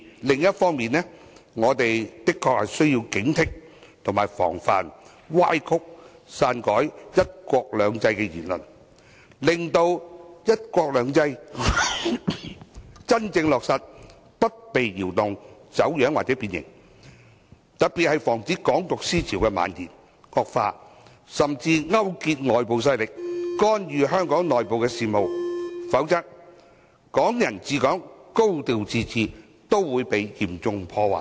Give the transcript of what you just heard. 另一方面，我們的確需要警惕及防範歪曲和篡改"一國兩制"的言論，令"一國兩制"的真正落實不被動搖、走樣或變形，尤其是要防止"港獨"思潮的蔓延、惡化甚至勾結外部勢力，干預香港內部事務，否則，"港人治港"和"高度自治"均會被嚴重破壞。